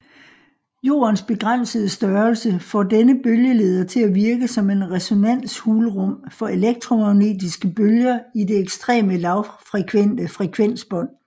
Jordens begrænsede størrelse får denne bølgeleder til at virke som en resonanshulrum for elektromagnetiske bølger i det ekstreme lavfrekvente frekvensbånd